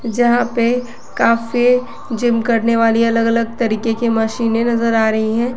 जहां पे काफी जिम करने वाली अलग अलग तरीके के मशीने नजर आ रही है।